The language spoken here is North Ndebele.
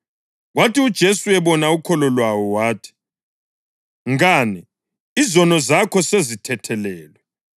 Kwathi uJesu ebona ukholo lwawo wathi, “Mngane, izono zakho sezithethelelwe.”